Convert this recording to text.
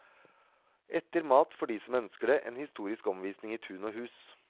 Etter mat får de som ønsker det, en historisk omvisning i tun og hus.